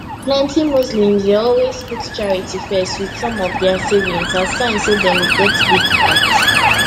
plenty muslims dey always put charity first wit some of dia savings as sign say dem get big heart